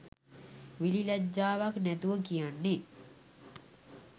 විලිලැජ්ජාවක් නැතුව කියන්නෙ.